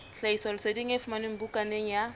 tlhahisoleseding e fumanwe bukaneng ya